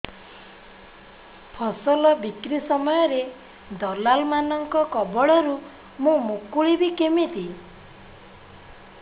ଫସଲ ବିକ୍ରୀ ସମୟରେ ଦଲାଲ୍ ମାନଙ୍କ କବଳରୁ ମୁଁ ମୁକୁଳିଵି କେମିତି